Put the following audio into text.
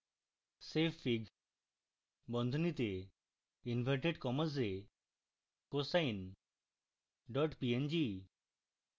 savefig বন্ধনীতে inverted commas এ cosine png